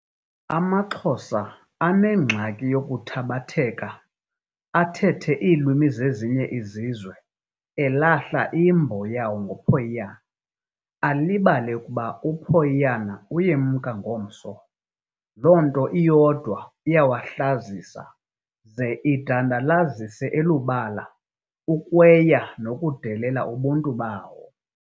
Amaxhosa anengxaki yokuthabatheka athetha iilwimi zezinye izizwe elahla, imbo yawo ngophoyiyana, alibale ukuba uphoyoyana uyemka ngomso, loo nto iyodwa iyawahlazisa ze idandalalize elubala ukwaya nokudelela ubuntu bawo.